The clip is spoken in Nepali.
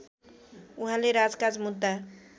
उहाँले राजकाज मुद्दा